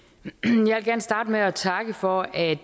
jeg starte med at takke for at